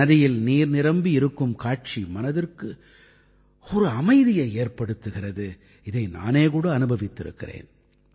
நதியில் நீர் நிரம்பி இருக்கும் காட்சி மனதிற்கு ஒரு அமைதியை ஏற்படுத்துகிறது இதை நானே கூட அனுபவித்திருக்கிறேன்